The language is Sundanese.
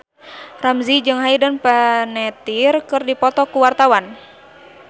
Ramzy jeung Hayden Panettiere keur dipoto ku wartawan